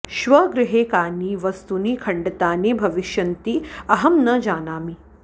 श्वः गृहे कानि वस्तूनि खण्डितानि भविष्यन्ति अहं न जानामि